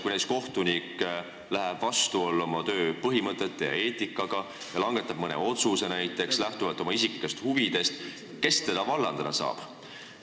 Kui kohtunik läheb vastuollu oma töö põhimõtete ja eetikaga ja langetab mõne otsuse näiteks lähtuvalt oma isiklikest huvidest, siis kes teda vallandada saab?